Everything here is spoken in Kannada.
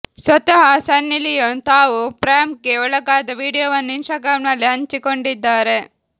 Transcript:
ಸ್ವತಃ ಸನ್ನಿ ಲಿಯೋನ್ ತಾವು ಪ್ರ್ಯಾಂಕ್ಗೆ ಒಳಗಾದ ವಿಡಿಯೋವನ್ನು ಇನ್ಸ್ಟಾಗ್ರಾಂನಲ್ಲಿ ಹಂಚಿಕೊಂಡಿದ್ದಾರೆ